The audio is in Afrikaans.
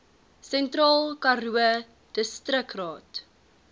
sentraal karoo distriksraad